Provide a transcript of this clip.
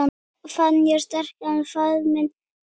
Fann ég sterkan faðminn þinn.